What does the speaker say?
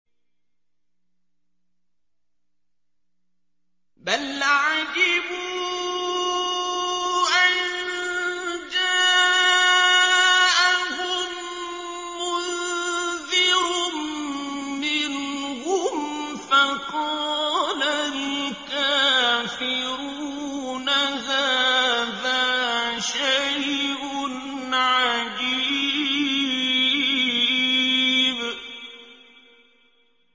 بَلْ عَجِبُوا أَن جَاءَهُم مُّنذِرٌ مِّنْهُمْ فَقَالَ الْكَافِرُونَ هَٰذَا شَيْءٌ عَجِيبٌ